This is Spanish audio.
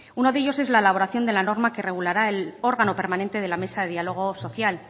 uno de ellos es la elaboración de la norma que regulará el órgano permanente de la mesa de diálogo social